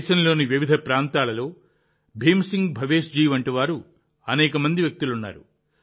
దేశంలోని వివిధ ప్రాంతాలలో భీమ్ సింగ్ భవేష్ జీ వంటి అనేక మంది వ్యక్తులు ఉన్నారు